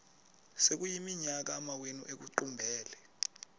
sekuyiminyaka amawenu ekuqumbele